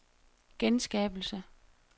genskabelse